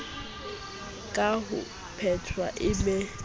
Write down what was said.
ka ho phetwa e be